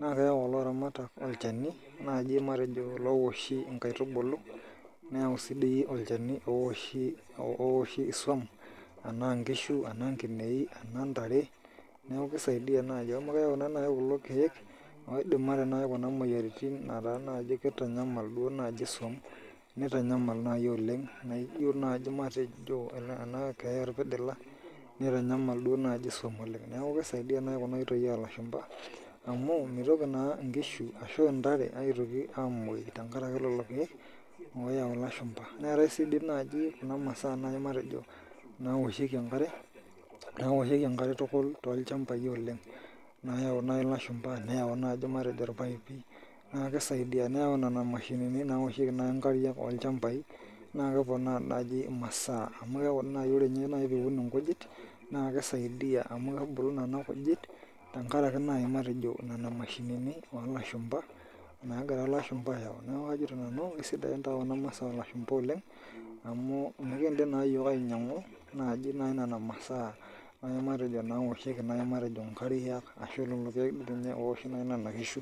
naa keyau ilaramatak olchani naaji matejo ilawoshi inkaitubula neyau sii dii olchani ooowoshi iswam enaa inkishu enaa inkineji enaa intare neeku keisaidia najii amu keyau na nayii kulo kiek ooidimare nayii kunaa moyiaritin etaa naji keitanyamal duo naji iswam neitanyamal nayii oleng' naijo naji matejo ena keeya orpidila naitanyamal naa duo naji iswam oleng' nekuu keisaidia naii Kuna oitoi oo lashumpa amu meitoki naa inkishu arashu intare aitoki amoyu tenkaraki ilo shani ooyau ilashumpa, neetae sii diii naji kuna masaa nai matejo nawoshieki enkare tukul toolchampai oleng' nayau naii ilashumpa nayau najii matejo irpaipi naa keisaidia neyau nena mashinini nawoshieki nayii inkariak oolchampi naa keponaa naii imasaa emu kekuu tii ore nyee nayi piun inkujit naa keisaidia amu kebulu Kuna kujit tenkaraki nayii matejo nena mashinini oolashumpa naagira ilashumpa ayau neeku kajito nanu keisidai taa Kuna masaa oolashumpa oleng' amuu mekindim naa iyok ainyang'u najii naii nena masaa matejo nawoshieki naii matejo inkariak ashuu oowoshii nayii nena kishu.